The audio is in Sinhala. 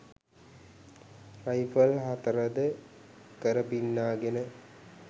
රයිෆල් හතරද කරපින්නාගෙන